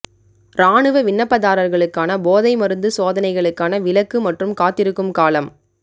இராணுவ விண்ணப்பதாரர்களுக்கான போதை மருந்து சோதனைகளுக்கான விலக்கு மற்றும் காத்திருக்கும் காலம்